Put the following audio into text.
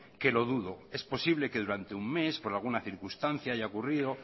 que lo dudo es posible que durante un mes por alguna circunstancia haya ocurrido